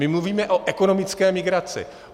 My mluvíme o ekonomické migraci.